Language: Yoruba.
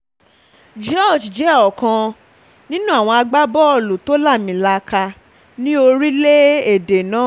george jẹ́ ọ̀kan ọ̀kan um nínú àwọn agbábọ́ọ̀lù tó lámilaaka ní orílẹ̀-èdè náà um